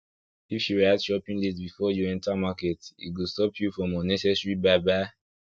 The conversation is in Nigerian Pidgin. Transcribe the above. if you write shopping list before you enter market e go stop you from unnecessary buy buy